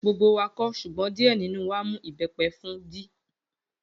Gbogbo wa kò, ṣùgbọ́n díè nínú wa mu ìbẹ́pẹ fún d